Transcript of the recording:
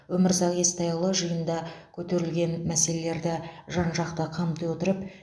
өмірзақ естайұлы жиында көтерілген мәселелерді жан жақты қамти отырып мереке күндері